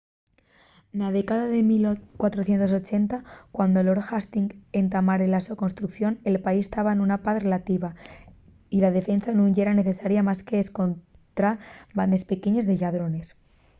na década de 1480 cuando lord hastings entamare la so construcción el país taba nuna paz relativa y la defensa nun yera necesaria más qu’escontra bandes pequeñes de lladrones